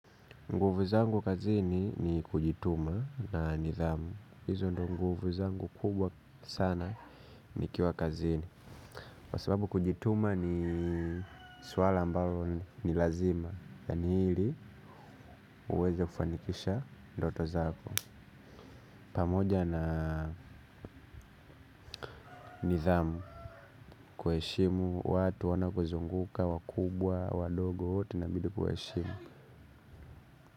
Nguvu zangu kazini ni kujituma na nidhamu. Hizo ndo nguvu zangu kubwa sana nikiwa kazini kwa sababu kujituma ni swala ambalo ni lazima. Yaani ili uweze kufanikisha ndoto zako. Pamoja na nidhamu kuheshimu watu wanao kuzunguka wakubwa wadogo wote inabidi kuwaheshimu.